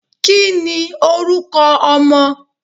kí ní oruko ọmọ?